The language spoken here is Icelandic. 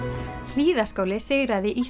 Hlíðaskóli sigraði í